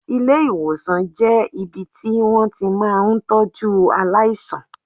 Ilé ìwòsàn jẹ́ ibi tí wón ti máa ń tọ́jú aláìsàn.